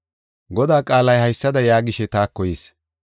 Godaa qaalay haysada yaagishe taako yis: